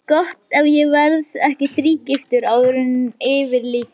Gott ef ég verð ekki þrígiftur áður en yfir lýkur.